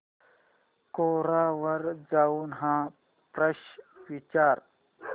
कोरा वर जाऊन हा प्रश्न विचार